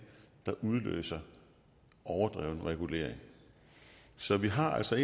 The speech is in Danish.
der udløser overdreven regulering så vi har altså